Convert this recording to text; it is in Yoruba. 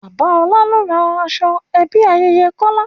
Bàbá ọlá ló rán aṣọ ẹbí ayẹyẹ Kọ́lá